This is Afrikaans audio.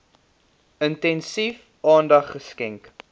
intensief aandag geskenk